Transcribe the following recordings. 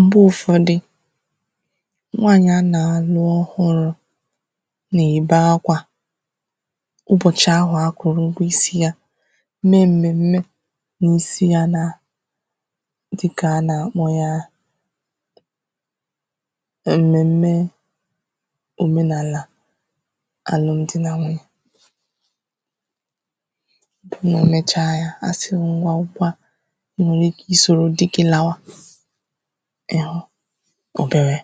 m̀gbè ụ̀fọdị nwaanyị̀ a nà-àlụ ọhụrụ mà-èbe akwā ụbọ̀chị ahụ akwụ̀rụ̀ ụgwọ isi ya mee m̀mème na-èsi ya na dịkà a nà-àkpọ ya èmème ọ̀menàlà àlụmdị nà wunyè màọwụ̀ e mecha ya àsị ngwa nkwa ị nwee ike ị sòrò di gi lawa ị̀hu obere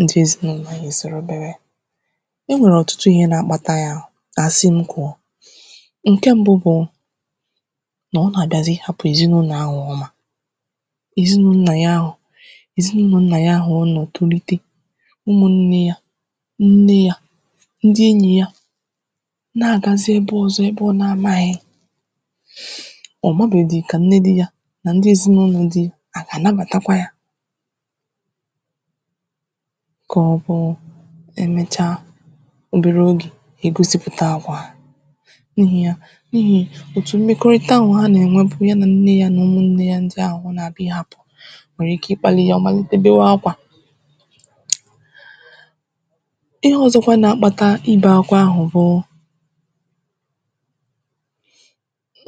ndị èzinaụlọ ya na-esi obere ọ nwèrè ọ̀tụtụ ihe na-akpata ya àsị m kwuo ǹke mbu bụ nà ọ nà-àgazị ịhāpụ̀ èzinaụnọ̀ ahụ̀ ọ mà èzinaụnọ̀ ya ahụ̀ èzinaụnọ̀ ya ahụ̀ ọ nọ̀ tolite umùnne ya nne ya ndị enyì ya na-àgazị ebe ọ̀zọ ebe ọ na-amāghị̀ ọ̀ mabeghidi kà nne di ya nà ndị èzinaụnọ̀ di yā hà àgà ànabàtakwa ya kà ọ hụ emechà obere ogè ègosipụ̀ta àgwà n'ihi ya ka n'ihi ya òtù mmekọrịta ahụ̀ ha nà-ènwe bụ̀ nnē ya na umùnne ya ahụ̀ ọ nà-àbịa ịhāpụ̀ wèrè ike ịkpālị ya ọ̀ màllite bewe akwā ihe ọ̀zọ na-akpata ibe akwa ahụ̣̀ bụ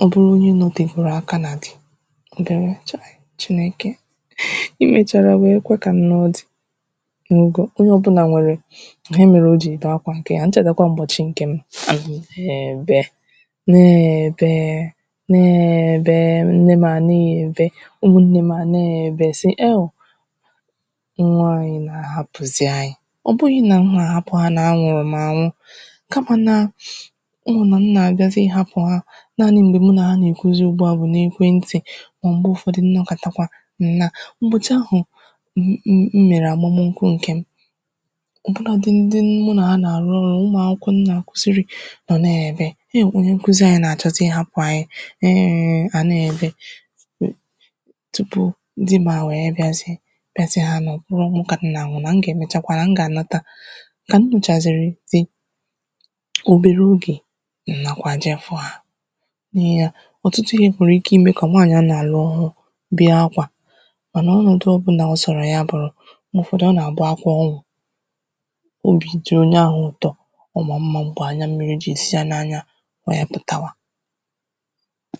ọ bụrụ onye nọtèfuru akā nà di ọ gà-enwe chayị̀ chineke i mèchàrà wee kwe kà m nụọ di màọbụ̀ onye ọ̀bụla nwèrè ihe mere o jì èbe akwa ǹkè ya m chèta ụ̀bọ̀chị ǹkè m na-èbe na-èbe nne m a na-èbe umùnne m à na-èbe nwa ànyị nà-àhapụ̀zị ànyị ọ bụghị̄ nà m nà-àhapụ ya nà anwụrụ m ànwụ ka mā na ọ wụ̀ nà m nà-àbịazaị ịhàpụ ha nanị m̀gbè mụ nà ha nà-èkwuzi ùgbua bụ n’èkwentì mà ọ m̀gbe ụ̀fọdị m nọkàtàkwa m naa ụbọchị̄ ahụ̀ m mèrè àmụmụ nkwū ǹkè m ọ̀ bụnādị ndị mu nà ha nà-àrụ ọrụ umù akwụkwọ m nà-àkụzịrị a na-èbe hewu onye nkụzị anyị̄ nà-àchọzị ịhāpụ̀ ànyị eee ha na-èbe tupu di m a wee bịazie bịa si ha nà ọ bụrọ̄ ọnwụ kà m nà-ànwụ nà m gaà-èmechakwa nà m gà anàta kà m nụ̀chàràzị di obere ogè m nakwa jee fụ hā nye yā òtụ̀tụ ihe nwèrè ihe imē kà nwaanyị̀ a nà-alụ ọ̀hụrụ bee akwa mànà ọnọ̀dụ ọ̀bụla ọ sọ̀rọ̀ ya bụ̀rụ m̀gbe ụ̀fọdụ ọ nà-àbụ akwa ọṅụ̀ obi jùrù n’ahā ụ̀tọ ọ maa mmā m̀gbè anya mmịrị̄ jì si yā n’anya ọ yā pụ̀tawa